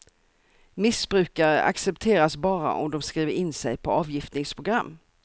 Missbrukare accepteras bara om de skriver in sig på avgiftningsprogram.